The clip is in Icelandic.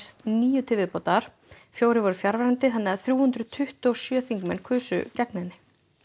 níu til viðbótar fjórir voru fjarverandi þannig þrjú hundruð tuttugu og sjö þingmenn kusu gegn henni